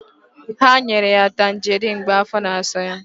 Ha nyere ya Tanjeriin mgbe afọ na-asa ya.